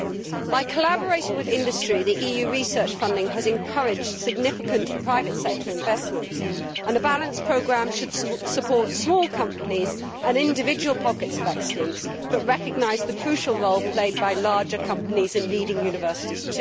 Through collaboration with industry, the EU research funding has encouraged significant private sector investment, and a balanced programme should support small companies and individual pockets of excellence while also recognising the crucial role played by larger companies and leading universities.